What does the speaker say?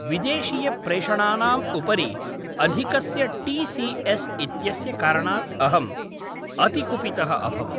विदेशीयप्रेषणानाम् उपरि अधिकस्य T C S इत्यस्य कारणात् अहम् अतिकुपितः अभवम्।